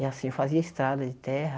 E assim, fazia estrada de terra.